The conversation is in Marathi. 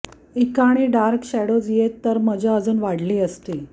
ईकाणी डार्क शॅडोज येत्या तर मजा अजुन वाढली असती